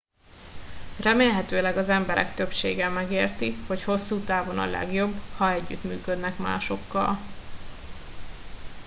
remélhetőleg az emberek többsége megérti hogy hosszú távon a legjobb ha együttműködnek másokkal